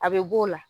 A bɛ b'o la